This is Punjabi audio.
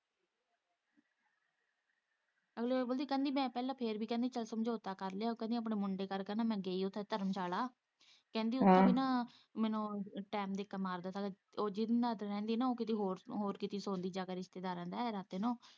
ਅਗਲੀ ਕਹਿੰਦੀ ਪਹਿਲਾਂ ਮੈਂ ਫੇਰ ਵੀ ਮੈਂ ਸਮਝੌਤਾ ਕਰ ਲਿਆ ਆਪਣੇ ਮੁੰਡੇ ਕਰਕੇ ਮੈਂ ਗਈ ਉੱਥੇ ਧਰਮਸ਼ਾਲਾ ਕਹਿੰਦੀ ਉੱਥੇ ਵੀ ਨਾ ਮੈਨੂੰ ਟਾਇਮ ਦਿੱਕਤ ਮਾਰਦਾ ਜਿੱਦੇ ਨਾਲ਼ ਉਹ ਰਹਿੰਦੀ ਉਹ ਹੋਰ ਕਿਤੇ ਹੋਰ ਜਾ ਕੇ ਸੋਂਦੀ ਜਾ ਕੇ ਰਿਸ਼ਤੇਦਾਰਾਂ ਦੇ ਰਾਤੀਂ ਨੂੰ।